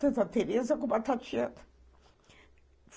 Tanto a Teresa como a Tatiana.